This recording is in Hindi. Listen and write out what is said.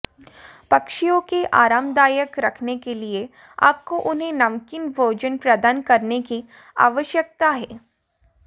पक्षियों के आरामदायक रखने के लिए आपको उन्हें नमकीन भोजन प्रदान करने की आवश्यकता है